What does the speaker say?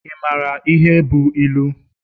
Ị mara ihe bụ ilu?